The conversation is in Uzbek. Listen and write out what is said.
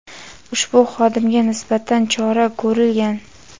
ushbu xodimga nisbatan chora ko‘rilgan.